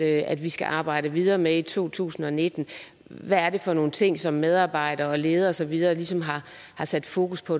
at vi skal arbejde videre med i 2019 hvad er det for nogle ting som medarbejdere og ledere og så videre ligesom har sat fokus på